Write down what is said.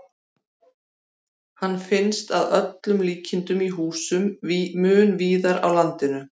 Hann finnst að öllum líkindum í húsum mun víðar á landinu.